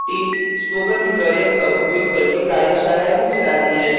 spoken tutorials का उपयोग करके कार्यशालाएँ भी चलाती हैं